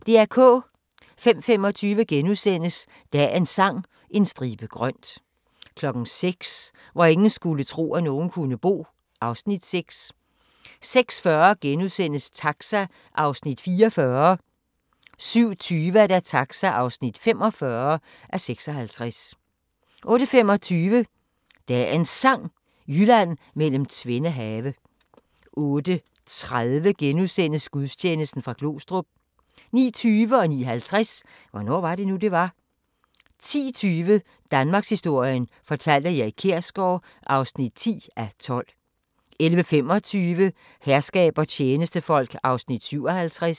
05:25: Dagens Sang: En stribe grønt * 06:00: Hvor ingen skulle tro, at nogen kunne bo (Afs. 6) 06:40: Taxa (44:56)* 07:20: Taxa (45:56) 08:25: Dagens Sang: Jylland mellem tvende have 08:30: Gudstjeneste fra Glostrup * 09:20: Hvornår var det nu, det var? 09:50: Hvornår var det nu, det var? 10:20: Danmarkshistorien fortalt af Erik Kjersgaard (10:12) 11:25: Herskab og tjenestefolk (57:68)